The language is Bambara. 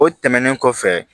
O tɛmɛnen kɔfɛ